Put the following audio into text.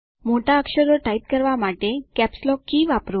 મોટા અક્ષરો ટાઇપ કરવા માટે કેપ્સલોક કી વાપરો